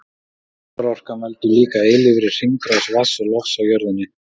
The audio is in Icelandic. Sólarorkan veldur líka eilífri hringrás vatns og lofts á jörðinni.